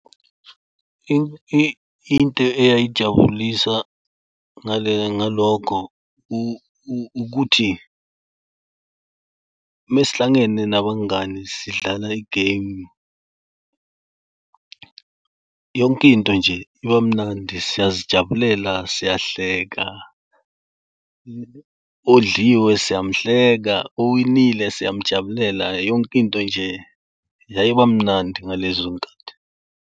Into eyayijabulisa ngalokho ukuthi uma sihlangane nabangani sidlala igemu, yonkinto nje ibamnandi, siyazijabulela, siyahleka, odliwe siyamhleka, owinile siyamjabulela yonkinto nje yayibamnandi ngalezonkhathi.